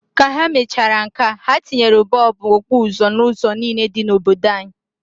Ka ha mechara nkea, ha tinyere bọọbụ okpuzo n'ụzọ niine dị n'obodo anyi.